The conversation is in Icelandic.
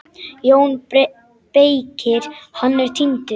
JÓN BEYKIR: Hann er týndur!